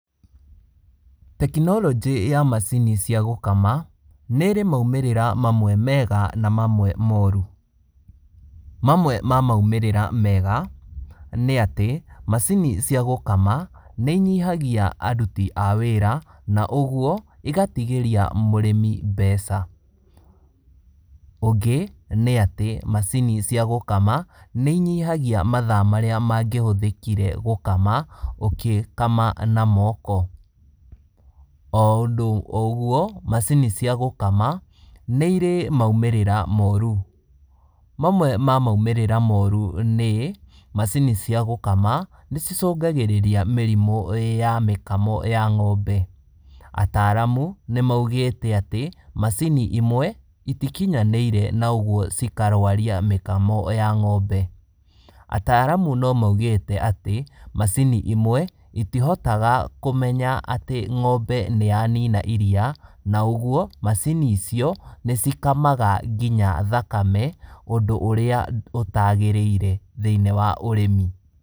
Tekinoronjĩ ya macini cia gũkama, nĩrĩ maumĩrĩra mamwe mega na mamwe moru. Mamwe ma maumĩrĩra mega nĩ atĩ, macini cia gũkama nĩ inyihagia aruti a wĩra, na ũguo igatigĩria mũrĩmi mbeca. Ũngĩ nĩ atĩ macini cia gũkama nĩ inyihagia mathaa marĩa mangĩhũthĩkire gũkama ũkĩkama na moko. O ũndũ o ũguo, macini cia gũkama nĩ irĩ maumĩrĩra moru. Mamwe na maumĩrĩra moru nĩ, macini cia gũkama nĩ cicũngagĩrĩria mĩrimũ ya mĩkamo ya ng'ombe. Ataalamu nĩ maugĩte atĩ macini imwe itikinyanĩire na ũguo cikarwaria mĩkamo ya ng'ombe. Ataalamu no maũgĩte atĩ, macini imwe itihotaga kũmenya atĩ ng'ombe nĩ yanina iria, na ũguo, macini icio nĩcikamaga nginya thakame ũndũ ũrĩa ũtagĩrĩire thĩiniĩ wa ũrĩmi.